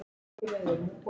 Forðum okkur því.